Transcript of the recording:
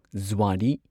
ꯓꯨꯑꯥꯔꯤ